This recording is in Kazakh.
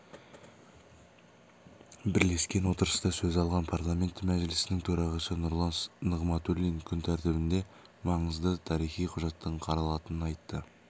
бірлескен отырыста сөз алған парламенті мәжілісінің төрағасы нұрлан нығматуллин күн тәртібінде маңызды тарихи құжаттың қаралатынын айтты